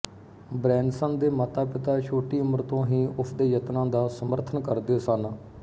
Branson ਦੇ ਮਾਤਾਪਿਤਾ ਛੋਟੀ ਉਮਰ ਤੋਂ ਹੀ ਉਸਦੇ ਯਤਨਾਂ ਦਾ ਸਮਰਥਨ ਕਰਦੇ ਸਨ